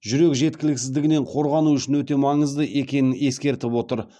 жүрек жеткіліксіздігінен қорғану үшін өте маңызды екенін ескертіп отыр